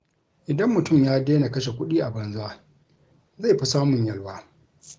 Idan mutum ya daina kashe kuɗi a banza, zai fi samun yalwa.